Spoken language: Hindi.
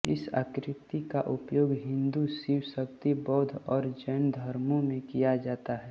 इस आकृति का उपयोग हिन्दू शिव शक्ति बौद्ध और जैन धर्मो में किया जाता है